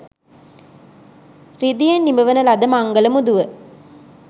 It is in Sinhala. රිදියෙන් නිමවන ලද මංගල මුදුව